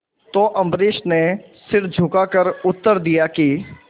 तो अम्बरीश ने सिर झुकाकर उत्तर दिया कि